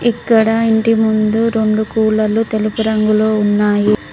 ఇక్కడ ఇంటి ముందు రెండు కూలర్లు తెలుపు రంగులో ఉన్నాయి.